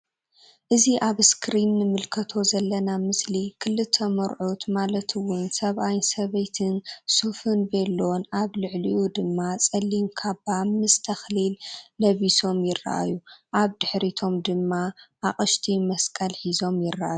እዚ ኣብ እስክሪን ንምልከቶ ዘለና ምስሊ ክልተ መርዑት ማለት እውን ሰባኣይን ሰበይትን ሱፉን ቬሎን ኣብ ልዕሊኡ ድማ ጸሊም ካባ ምስ ተክሊል ለቢሶም ይርኣዩ ኣብ ድሕሪቶም ድማ ኣቅሽቲ መስቀል ሒዞም ይርኣዩ።